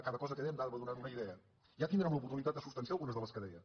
a cada cosa que deia m’anava donant una idea ja tindrem l’oportunitat de substanciar algunes de les que deia